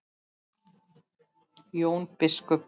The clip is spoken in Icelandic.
Jón biskup